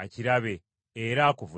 akirabe, era akuvunaane.”